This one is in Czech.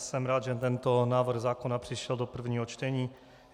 Jsem rád, že tento návrh zákona přišel do prvního čtení.